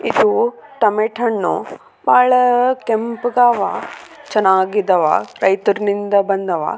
ತುಂಬಾ ಟಮೆಟೊಗಳು ಇವೆ ಲೈಟ್‌ಗಳು ಬೆಳಕನ್ನು ಸಹ ನೋಡಬಹುದು.